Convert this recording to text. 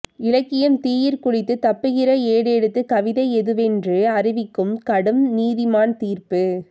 இலக்கியம் தீயிற் குளித்துத் தப்புகிற ஏடெடுத்துக் கவிதை எதுவென்று அறிவிக்கும் கடும் நீதிமான் தீர்ப்பு